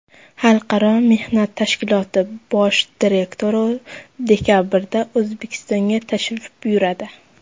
Xalqaro mehnat tashkiloti bosh direktori dekabrda O‘zbekistonga tashrif buyuradi.